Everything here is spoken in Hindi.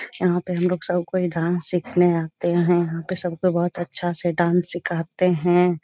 यहां पे हमलोग सब कोई डांस सिखने आते हैं यहां पे सबको बहोत अच्छा से डांस सिखाते हैं।